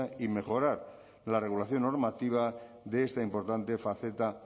y mejorar la regulación normativa de esta importante faceta